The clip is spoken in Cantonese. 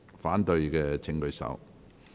反對的請舉手。